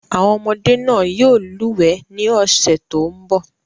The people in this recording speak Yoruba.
Àwọn ọmọdé náà yóò lúwẹ̀ẹ́ ní ọ̀sẹ̀ tó ń bọ̀.